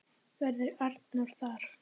Verður Arnór þar?